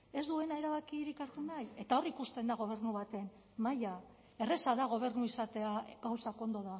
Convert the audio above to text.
ez duena erabakirik hartu nahi eta hor ikusten da gobernu baten maila erraza da gobernu izatea gauzak ondo